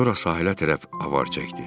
Sonra sahilə tərəf avar çəkdi.